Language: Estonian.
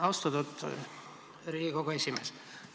Austatud Riigikogu esimees!